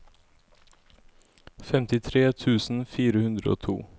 femtitre tusen fire hundre og to